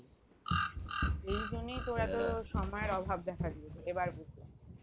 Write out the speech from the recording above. এই জন্যেই তোর এত সময় এর অভাব দেখা দিয়েছে এবার বুঝলাম